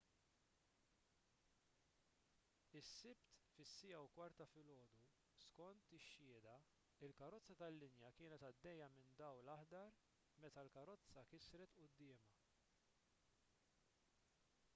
is-sibt fis-1:15 ta’ filgħodu skont ix-xhieda il-karozza tal-linja kienet għaddejja minn dawl aħdar meta l-karozza kisret quddiemha